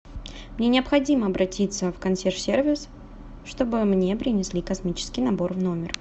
мне необходимо обратиться в консьерж сервис чтобы мне принесли космический набор в номер